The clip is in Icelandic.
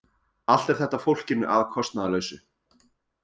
Allt er þetta fólkinu að kostnaðarlausu